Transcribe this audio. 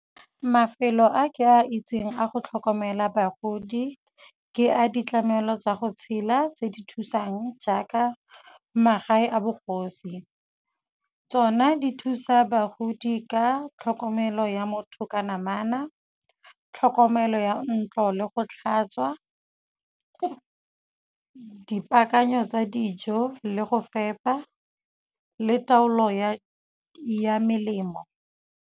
Mafelo a ke a itseng a go tlhokomela bagodi ke a ditlamelo tsa go tshela tse di thusang jaaka magae a bogosi. Tsona di thusa bagodi ka tlhokomelo ya motho ka namana, tlhokomelo ya ntlo le go tlhatswa, dipaakanyo tsa dijo le go fepa le taolo ya melemo.